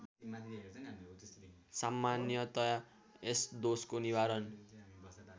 सामान्यतया यस दोषको निवारण